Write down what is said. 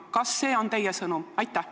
Kas see on teie sõnum?